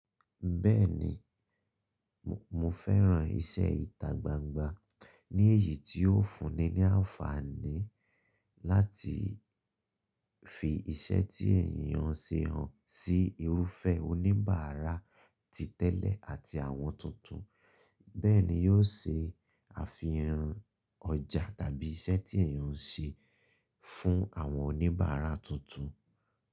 Bẹ́ẹ̀ni, mo fẹ́ran iṣẹ́ ìtagbangba ní èyí tí ó fúnni ní àǹfààní láti fi iṣẹ́ tí ènìyàn ṣe hàn sí irúfẹ́ oníbàárà ti tẹ́lẹ̀ àti àwọn tuntun. Bẹ́ẹ̀ ni yóò se àfihàn ọjà tàbí iṣẹ́ tí ènìyàn ń ṣe fún àwọn oníbàárà tuntun.